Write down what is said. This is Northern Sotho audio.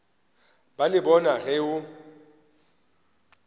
ba le bona ge o